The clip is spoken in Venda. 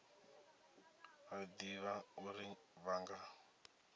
a ḓivha uri vha nga